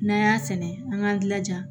N'an y'a sɛnɛ an k'an jilaja